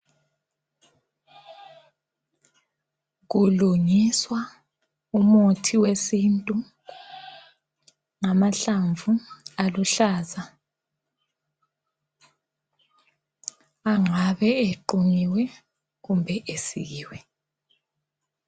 Kulungiswa umuthi wesintu ngamahlamvu aluhlaza, angabe equnyiwe kumbe esikiwe.